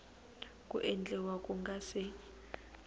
ku endliwa ku nga se